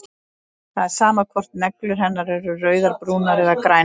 Það er sama hvort neglur hennar eru rauðar, brúnar eða grænar.